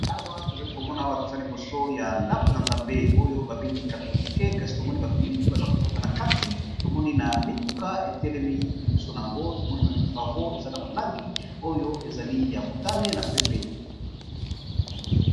Awa tozali komona eaa nakati ya ndaku ya nzmbz Oyo ya catholique